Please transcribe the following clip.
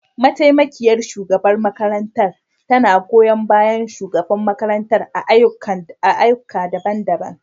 Mataimakiyar shugabar makarantar tana goyon bayan shugaban makarantar a ayyuka daban-daban.